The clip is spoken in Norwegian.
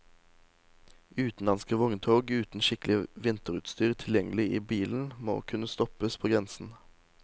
Utenlandske vogntog uten skikkelig vinterutstyr tilgjengelig i bilen, må kunne stoppes på grensen.